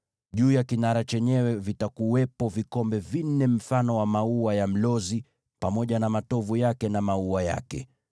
Juu ya kinara chenyewe vitakuwepo vikombe vinne vya mfano wa maua ya mlozi yakiwa na matovu yake na maua yake.